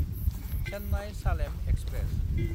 Chennai-Salem express